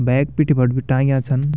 बैग पीठी फर भी टांग्या छन।